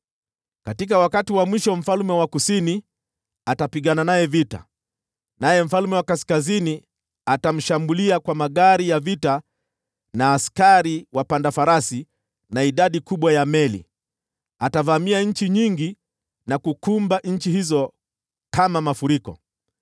“Katika wakati wa mwisho, mfalme wa Kusini atapigana naye vita, naye mfalme wa Kaskazini atamshambulia kwa magari ya vita, askari wapanda farasi, na idadi kubwa ya meli. Atavamia nchi nyingi na kuzikumba nchi hizo kama mafuriko.